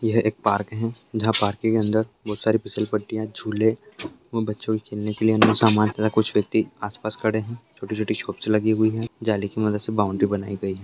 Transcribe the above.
यह एक पार्क है जहा पार्क के अंदर बहोत सारे पिसल पट्टियां झूले बच्चों के खेलने के लिए कुछ व्यक्ति आस पास खड़े है छोटी छोटी शॉप्स लगी हुवी है जाली की मदद से बाउंड्री बनाई गयी है